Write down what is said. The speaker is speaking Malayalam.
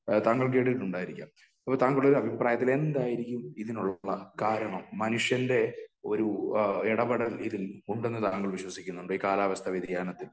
താങ്കൾ കേട്ടിട്ടുണ്ടായിരിക്കാം . അപ്പോ താങ്കളുടെ ഒരു അഭിപ്രായത്തിൽ എന്തായിരിക്കും ഇതിനുള്ള കാരണം? മനുഷ്യന്റെ ഒരു ഇടപെടൽ ഇതില് ഉണ്ടെന്ന് താങ്കൾ വിശ്വാസിക്കുന്നുണ്ടോ ?ഈ കാലാവസ്ഥാ വ്യതിയാനത്തിൽ